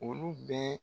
Olu bɛɛ